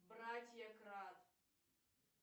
братья крат